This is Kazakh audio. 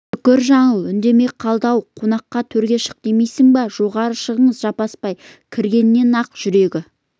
шүкір жаңыл үндемей қалды ау қонаққа төрге шық демейсің бе жоғары шығыңыз жаппасбай кіргеннен-ақ жүрегі